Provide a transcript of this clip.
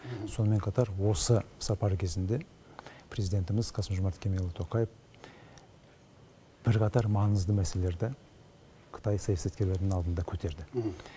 сонымен қатар осы сапар кезінде президентіміз қасым жомарт кемелұлы тоқаев бірқатар маңызды мәселелерді қытай саясаткерлерінің алдында көтерді